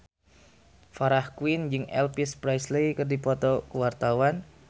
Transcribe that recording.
Farah Quinn jeung Elvis Presley keur dipoto ku wartawan